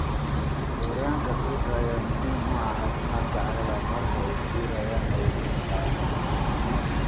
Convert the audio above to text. Gooryaanka dhulka ayaa muhiim u ah caafimaadka carrada, marka ay guurayaan ayay hawada ka qaadaan.